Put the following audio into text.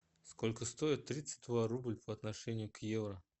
сколько стоит тридцать два рубль по отношению к евро